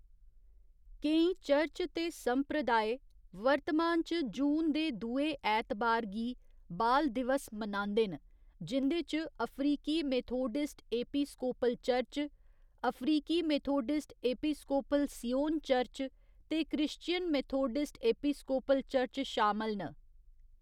केईं चर्च ते संप्रदाय वर्तमान च जून दे दुए ऐतबार गी बाल दिवस मनांदे न जिं'दे च अफ्रीकी मेथोडिस्ट एपिस्कोपल चर्च, अफ्रीकी मेथोडिस्ट एपिस्कोपल सियोन चर्च ते क्रिश्चियन मेथोडिस्ट एपिस्कोपल चर्च शामल न।